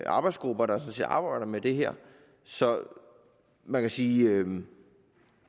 arbejdsgrupper der arbejder med det her så man kan sige